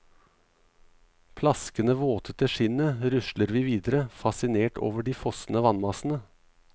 Plaskende våte til skinnet rusler vi videre, fascinert over de fossende vannmassene.